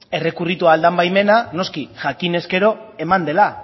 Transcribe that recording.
errekurritu ahal den baimena noski jakinez gero eman dela